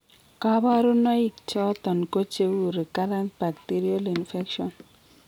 Kabarunaik choton ko cheuu recurrent bacterial infections